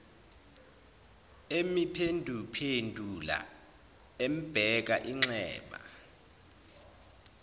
emuphenduphendula embheka inxeba